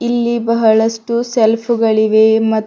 ಇಲ್ಲಿ ಬಹಳಷ್ಟು ಸೆಲ್ಫ್ ಗಳಿವೆ ಮ--